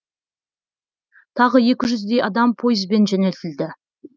тағы екі жүздей адам пойызбен жөнелтілді